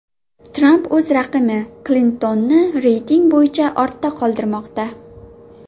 Tramp o‘z raqibi Klintonni reyting bo‘yicha ortda qoldirmoqda.